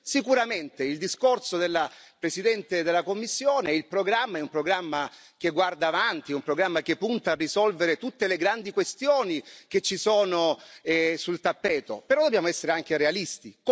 Sicuramente il discorso della Presidente della Commissione, il programma è un programma che guarda avanti, un programma che punta a risolvere tutte le grandi questioni che ci sono sul tappeto, però dobbiamo essere anche realisti.